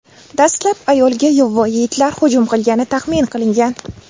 Dastlab ayolga yovvoyi itlar hujum qilgani taxmin qilingan.